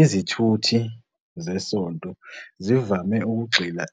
Izithuthi zesonto zivame ukugxila